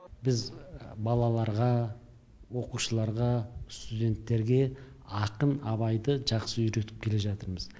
біз балаларға оқушыларға студенттерге ақын абайды жақсы үйретіп келе жатырмыз